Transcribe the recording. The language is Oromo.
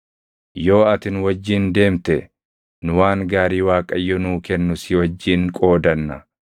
Yoo ati nu wajjin deemte nu waan gaarii Waaqayyo nuu kennu si wajjin qoodanna.”